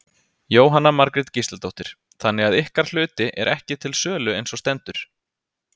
Jóhanna Margrét Gísladóttir: Þannig að ykkar hluti er ekki til sölu eins og stendur?